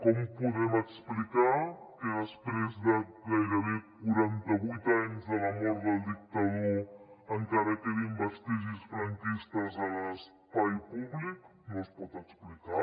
com podem explicar que després de gairebé quaranta vuit anys de la mort del dictador encara quedin vestigis franquistes a l’espai públic no es pot explicar